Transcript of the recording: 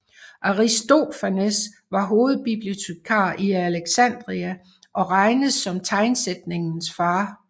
Aristofanes var hovedbibliotekar i Alexandria og regnes som tegnsætningens far